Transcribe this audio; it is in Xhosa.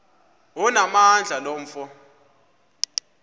onamandla lo mfo